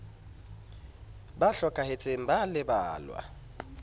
ba hlokahetseng ba a lebalwa